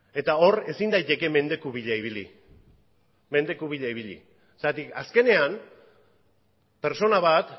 eta hor ezin daiteke mendeku bila ibili zergatik azkenean pertsona bat